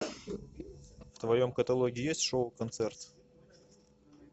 в твоем каталоге есть шоу концерт